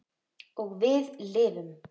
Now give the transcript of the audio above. Og við lifðum.